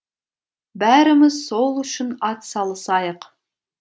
бәріміз сол үшін ат салысайық